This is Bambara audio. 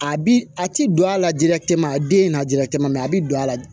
A bi a ti don a la dilate ma a den n'a dila a bɛ don a la